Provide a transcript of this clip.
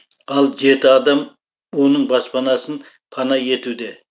ал жеті адам оның баспанасын пана етуде